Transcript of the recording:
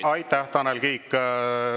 Aitäh, Tanel Kiik!